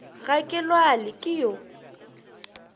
ga ke lwale ke yo